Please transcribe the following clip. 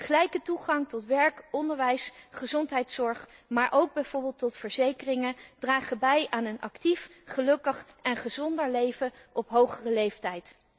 Gelijke toegang tot werk, onderwijs, gezondheidszorg, maar ook bijvoorbeeld tot verzekeringen, dragen bij aan een actief, gelukkig en gezonder leven op hogere leeftijd.